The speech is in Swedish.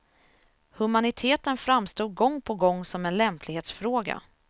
Humaniteten framstod gång på gång som en lämplighetsfråga.